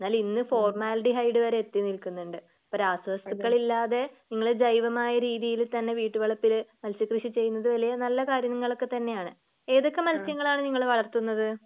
എന്നാൽ ഇന്ന് ഫോർമാൽഡിഹൈഡ് വരെ വരെ എത്തി നിൽക്കുന്നുണ്ട് അപ്പോ രാസവസ്തുക്കളില്ലാതെ നിങ്ങള് ജൈവമായ രീതിയിൽതന്നെ വീട്ടുവളപ്പില് മത്സ്യ കൃഷി ചെയ്യുന്നത് വലിയ നല്ല കാര്യങ്ങള് ഒക്കെ തന്നെയാണ്. ഏതൊക്കെ മത്സ്യങ്ങളാണ് നിങ്ങള് വളർത്തുന്നത്?